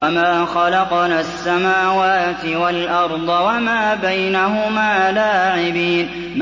وَمَا خَلَقْنَا السَّمَاوَاتِ وَالْأَرْضَ وَمَا بَيْنَهُمَا لَاعِبِينَ